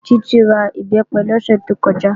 Títí ra Ìbẹ́pẹ lọ́sẹ̀ tó kọjá